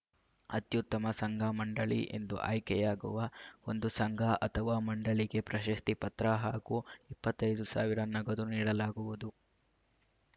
ಅತ್ಯುತ್ತಮ ಸಂಘಮಂಡಳಿ ಎಂದು ಆಯ್ಕೆಯಾಗುವ ಒಂದು ಸಂಘ ಅಥವಾ ಮಂಡಳಿಗೆ ಪ್ರಶಸ್ತಿ ಪತ್ರ ಹಾಗೂ ಇಪ್ಪತ್ತೈದು ಸಾವಿರ ನಗದು ನೀಡಲಾಗುವುದು